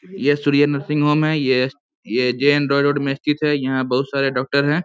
ये Surya nursing home है ये ये जैन रोड में स्थित है यहां बहुत सारे डॉक्टर हैं।